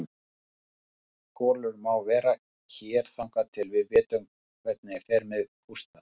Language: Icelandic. Kolur má vera hér þangað til við vitum hvernig fer með Gústa.